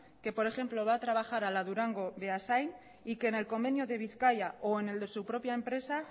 que por ejemplo va a trabajar a la durango beasain y que en el convenio de bizkaia o en el de su propia empresa